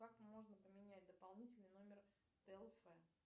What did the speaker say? как можно поменять дополнительный номер тлф